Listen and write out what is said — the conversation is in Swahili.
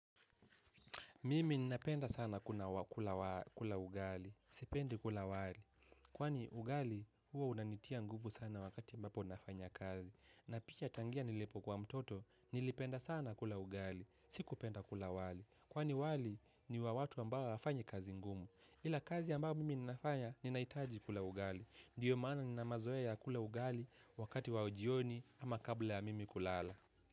Mimi ninapenda sana kula ugali, sipendi kula wali. Kwani ugali huo unanitia nguvu sana wakati mbapo nafanya kazi. Na picha tangia nilipo kwa mtoto, nilipenda sana kula ugali, siku penda kula wali. Kwani wali ni wa watu ambao hawafanyi kazi ngumu. Ila kazi ambayo mimi ninafanya ninahitaji kula ugali. Ndiyo maana ninamazoya ya kula ugali wakati wa ujioni ama kabla ya mimi kulala.